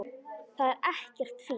Það er ekkert fínt.